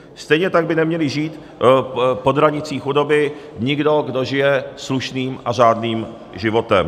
Stejně tak by neměl žít pod hranicí chudoby nikdo, kdo žije slušným a řádným životem.